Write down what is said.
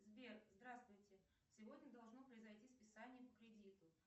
сбер здравствуйте сегодня должно произойти списание по кредиту